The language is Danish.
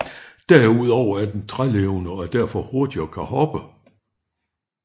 Derudover er den trælevende og er derfor hurtig og kan hoppe